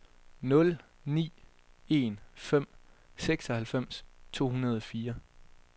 nul ni en fem seksoghalvfems to hundrede og fire